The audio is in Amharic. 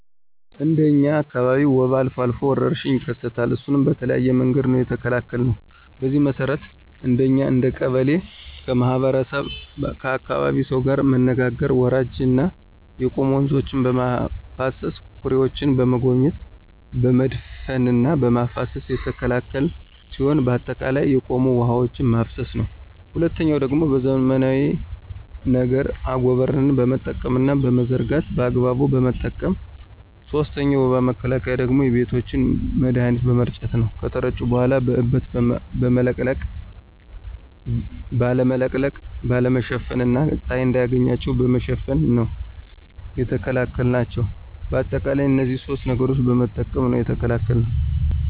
እንደ እኛ አካባቢ ወባ አልፎ አልፎ ወረርሽኝ ይከሰታል እሱንም በተለያየ መንገድ ነው የተከላከልነው። በዚህ መሰረት አንደኛ እንደ ቀበሌ ከህብረተሰቡና ከአካባቢው ሰው ጋር መነጋገር ወራጅና የቆሙ ወንዞችን በማፋሰስና ኩሬዎችን በመጎብኘት በመድፈንና በማፋሰስ የተከላከልን ሲሆን በአጠቃላይ የቆሙ ውሐዎችን ማፋሰስ ነው። ሁለተኛው ደግሞ በዘመናዊ ነገር አጎበርን በመጠቀምና በመዘርጋት በአግባቡ በመጠቀም። ሶስተኛው የወባ መከላከያ ደግሞ ቤቶችን መድሀኒት በመርጨት ነው ከተረጩ በኋላ በእበት ባለመለቅለቅ፣ ባለመሸፈን እና ፀሀይ እንዳያገኛቸው በመሸፈን ነው የተከላከልናቸው። በአጠቃላይ እነዚህን ሶስት ነገሮችን በመጠቀም ነው የተከላከልነው።